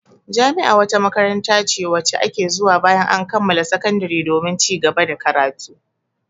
Jami'a wata makaranta ce wacce ake zuwa bayan an kammala sakandare domin cigaba da karatu.